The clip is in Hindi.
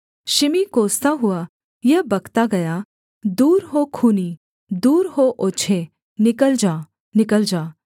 शिमी कोसता हुआ यह बकता गया दूर हो खूनी दूर हो ओछे निकल जा निकल जा